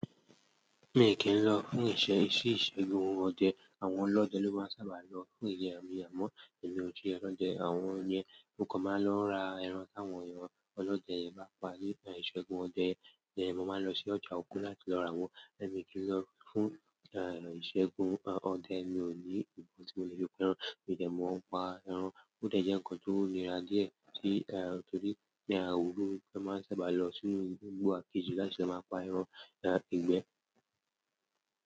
Mi kì n lọ fún ìṣẹ́, ìṣe ìṣẹ́gun ọdẹ àwọn ọlọdẹ ló máa ń sábà lọ fún ìyẹn amọ́. Emi o jẹ ọlọdẹ àmọ́ mo kan máa ń lọ ra ẹran táwọn ènìyàn ọlọdẹ yẹn bá pà nípa ìṣẹ́gun ọdẹ. Ìdíye mo máa ń lọ sí ọjà Ògún láti lọ ra wọn, èmi kì í lọ fún ìṣẹ́gun ọdẹ. Mi ò ní ìbọn tí mo lè fi pa ẹran, mi dẹ mo ń pa ẹran. Ó dẹ́ jẹ́ nǹkan tó nira díẹ̀ tí tòrí tí àwọn olórí máa ń sábà lọ sínú igbó àkejì láti lọ máa pa ẹran igbẹ́.